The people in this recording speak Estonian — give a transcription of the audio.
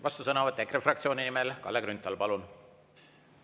Vastusõnavõtt EKRE fraktsiooni nimel, Kalle Grünthal, palun!